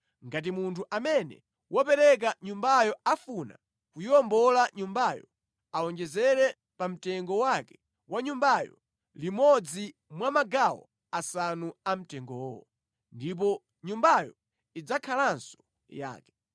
Ngati munthu amene wapereka nyumbayo afuna kuyiwombola nyumbayo, awonjezere pamtengo wake wa nyumbayo, limodzi mwa magawo asanu amtengowo. Ndipo nyumbayo idzakhalanso yake.